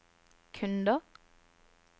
kunder